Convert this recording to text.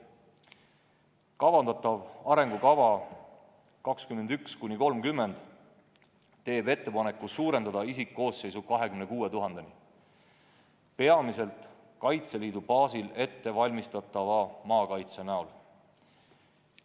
Kavandatav arengukava 2021–2030 teeb ettepaneku suurendada isikkoosseisu 26 000-ni, peamiselt Kaitseliidu baasil ettevalmistatava maakaitse näol.